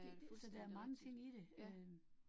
Det altså der mange ting i det øh